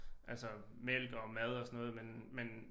Altså mælk og mad og sådan noget men men